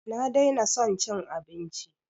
Na daina son cin abinci